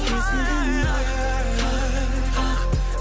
есігін қақ қақ қақ